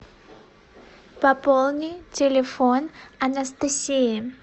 пополни телефон анастасии